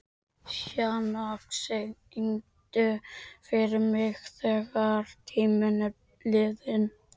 Sjana, syngdu fyrir mig „Þegar tíminn er liðinn“.